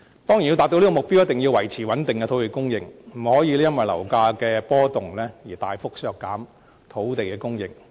當然，要達到這個目標，一定要維持穩定的土地供應，不能因為樓價波動而大幅削減土地供應。